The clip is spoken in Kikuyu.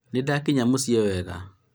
nĩndakinya mũciĩ wega